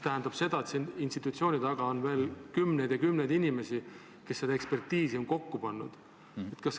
Aga institutsioonide taga on kümneid ja kümneid inimesi, kes selle ekspertiisi on kokku pannud.